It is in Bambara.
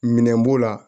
Minɛn b'o la